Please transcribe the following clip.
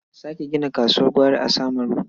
A sake gina kasuwar gwari a Samaru.